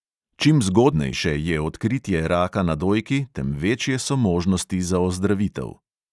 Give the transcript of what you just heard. Čim zgodnejše je odkritje raka na dojki, tem večje so možnosti za ozdravitev.